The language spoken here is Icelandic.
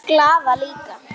Glaða líka.